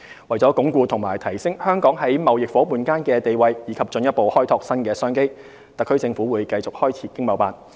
為了鞏固及提升香港在貿易夥伴間的地位，以及進一步開拓新商機，特區政府會繼續開設經貿辦。